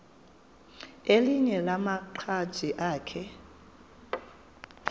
elinye lamaqhaji akhe